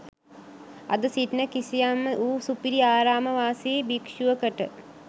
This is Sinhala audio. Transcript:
අද සිටින කිසියම්ම වූ සුපිරි ආරාම වාසී භික්ශුවකට